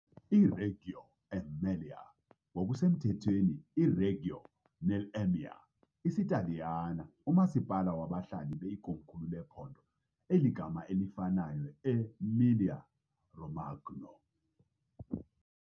iReggio Emilia ngokusemthethweni iReggio nell'Emilia , isiTaliyane umasipala wabahlali be , ikomkhulu lephondo eligama elifanayo e- Emilia-Romagna .